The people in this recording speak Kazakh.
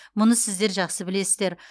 мұны сіздер жақсы білесіздер